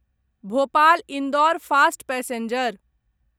Bhopal Indore fast passenger